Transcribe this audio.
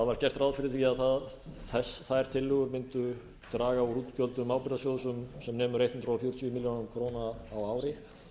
var gert ráð fyrir því að þær tillögur mundu draga úr útgjöldum ábyrgðasjóðs um sem nemur hundrað fjörutíu milljónir króna á ári